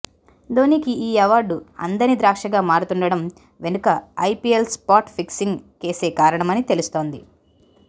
ధోనీకి ఈ అవార్డు అందని ద్రాక్షగా మారుతుండడం వెనక ఐపీఎల్ స్పాట్ ఫిక్సింగ్ కేసే కారణమని తెలుస్తోంది